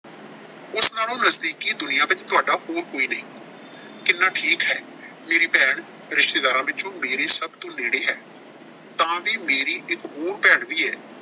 ਉਸ ਨਾਲੋਂ ਨਜ਼ਦੀਕੀ ਦੁਨੀਆਂ ਵਿੱਚ ਤੁਹਾਡਾ ਹੋਰ ਕੋਈ ਨਹੀੰ। ਕਿੰਨਾ ਠੀਕ ਹੈ। ਮੇਰੀ ਭੈਣ, ਰਿਸ਼ਤੇਦਾਰਾਂ ਵਿੱਚੋਂ ਮੇਰੇ ਸਭ ਤੋਂ ਨੇੜੇ ਹੈ, ਤਾਂ ਵੀ ਮੇਰੀ ਇੱਕ ਹੋਰ ਭੈਣ ਵੀ ਹੈ।